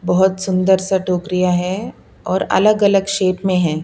बहुत सुंदर सा टोकरिया है और अलग-अलग शेप में है।